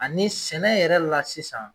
Ani sɛnɛ yɛrɛ la sisan